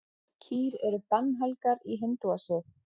Kýr eru bannhelgar í hindúasið.